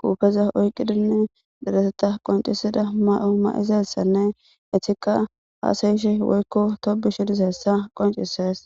quufeza oyqidinne direseta qoncisida ma7o ma7izaessanne etiqa haasayishe woykko tobu shidis hessa qoncises